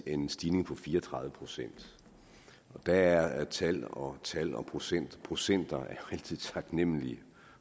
en stigning på fire og tredive procent og der er tal og tal og procenter procenter rigtig taknemmelige